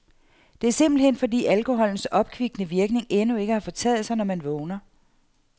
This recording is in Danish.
Det er simpelthen fordi alkoholens opkvikkende virkning endnu ikke har fortaget sig, når man vågner.